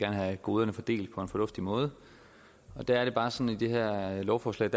have goderne fordelt på en fornuftig måde og der er det bare sådan i det her lovforslag